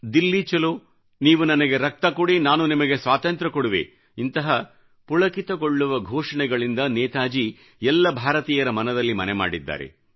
ದಿಲ್ಲಿ ಚಲೋ ನೀವು ನನಗೆ ರಕ್ತ ಕೊಡಿ ನಾನು ನಿಮಗೆ ಸ್ವಾತಂತ್ರ ಕೊಡುವೆ ದಂತಹ ಪುಳಕಿತಗೊಳ್ಳುವ ಘೋಷಣೆಗಳಿಂದ ನೇತಾಜಿ ಎಲ್ಲ ಭಾರತೀಯರ ಮನದಲ್ಲಿ ಮನೆ ಮಾಡಿದ್ದಾರೆ